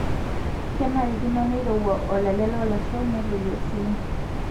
Kenarikino neirowua olale loolasho netoyio sii.